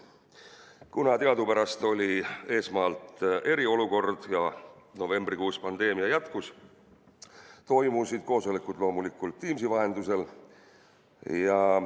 Kuna teadupärast oli esmalt eriolukord ja novembrikuus pandeemia jätkus, toimusid koosolekud loomulikult Teamsi vahendusel.